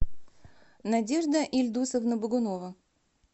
надежда ильдусовна богунова